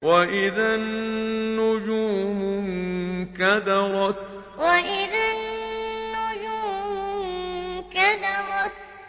وَإِذَا النُّجُومُ انكَدَرَتْ وَإِذَا النُّجُومُ انكَدَرَتْ